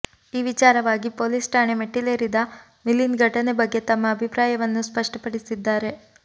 ಈ ವಿಚಾರವಾಗಿ ಪೊಲೀಸ್ ಠಾಣೆ ಮೆಟ್ಟಿಲೇರಿದ ಮಿಲಿಂದ್ ಘಟನೆ ಬಗ್ಗೆ ತಮ್ಮ ಅಭಿಪ್ರಾಯವನ್ನು ಸ್ಪಷ್ಟಪಡಿಸಿದ್ದಾರೆ